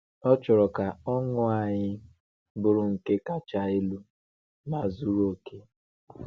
Ọ chọrọ ka ọṅụ anyị bụrụ nke kacha elu ma zuru oke.